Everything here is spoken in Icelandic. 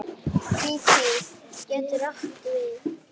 Kíví getur átti við